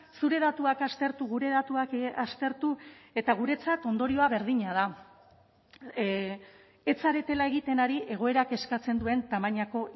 zure datuak aztertu gure datuak aztertu eta guretzat ondorioa berdina da ez zaretela egiten ari egoerak eskatzen duen tamainako